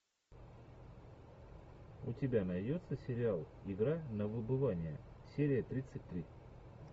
у тебя найдется сериал игра на выбывание серия тридцать три